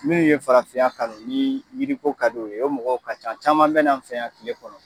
Minnu ye farafinya kanu ni yiriko ka d'o ye o mɔgɔ ka ca caman bena n fɛ yan kile kɔnɔ